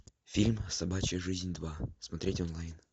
фильм собачья жизнь два смотреть онлайн